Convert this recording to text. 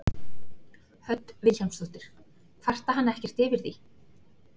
Hödd Vilhjálmsdóttir: Kvarta hann ekkert yfir því?